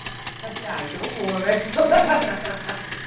Aí eu falei, ah, então eu vou, né?